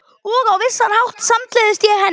Og á vissan hátt samgleðst ég henni.